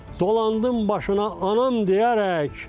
Dolandım başına anam deyərək.